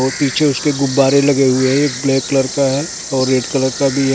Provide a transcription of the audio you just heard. और पीछे उसके गुब्बारे लगे हुए हैं ब्लैक कलर का है और रेड कलर का भी हैं ।